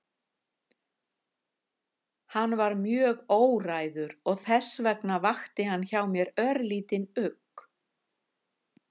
Hann var mjög óræður og þess vegna vakti hann mér örlítinn ugg.